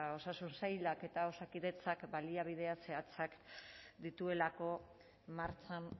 osasun sailak eta osakidetzak baliabideak zehatzak dituelako martxan